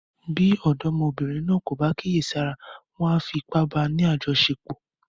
Bí ọ̀dọ́mọbìnrin náà kò bá kíyèsára, wọn a fi ipá báa ni àjọṣepọ̀.